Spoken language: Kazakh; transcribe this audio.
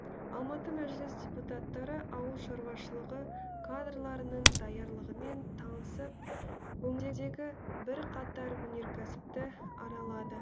алматы мәжіліс депутаттары ауыл шаруашылығы кадрларының даярлығымен танысып өңірдегі бірқатар өнеркәсіпті аралады